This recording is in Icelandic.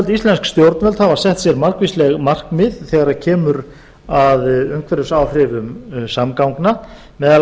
íslensk stjórnvöld hafa sett sér margvísleg markmið þegar kemur að umhverfisáhrifum samgangna meðal